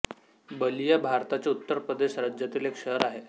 बलिया भारताच्या उत्तर प्रदेश राज्यातील एक शहर आहे